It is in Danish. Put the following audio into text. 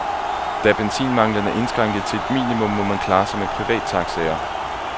Benzinmangelen er indskrænket til et minimum, må man klare sig med privattaxaer.